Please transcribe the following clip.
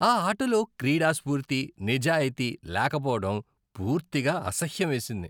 ఆ ఆటలో క్రీడా స్ఫూర్తి, నిజాయితీ లేకపోవడం పూర్తిగా అసహ్యమేసింది.